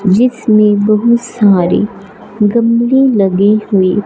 जिसमें बहुत सारी गंदगी लगी हुई--